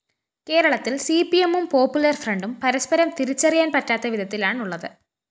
കേരളത്തില്‍ സിപിഎമ്മും പോപ്പുലർ ഫ്രണ്ടും പരസ്പരം തിരിച്ചറിയാന്‍ പറ്റാത്ത വിധത്തിലാണുള്ളത്